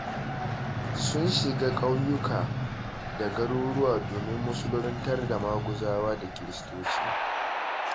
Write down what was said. Suna shiga ƙauyuka da garuruwa domin musuluntar da Maguzawa da Kiristoci.